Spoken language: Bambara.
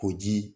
Ko ji